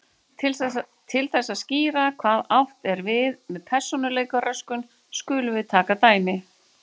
Til þess að skýra hvað átt er við með persónuleikaröskun skulum við taka dæmi.